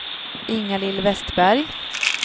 Ingalill Vestberg